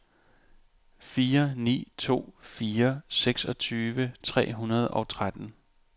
fire ni to fire seksogtyve tre hundrede og tretten